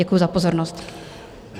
Děkuji za pozornost.